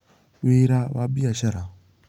Wĩra wa biacara: